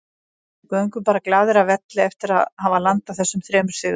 Við göngum bara glaðir af velli eftir að hafa landað þessum þremur stigum.